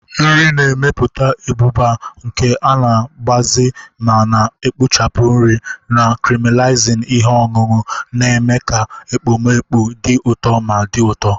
Nri na-emepụta abụba, nke na-agbaze ma na-ekpuchi nri, na caramelizing ihe ọṅụṅụ, na-eme ka ekpomeekpo dị ụtọ ma dị ụtọ.